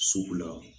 Sugu la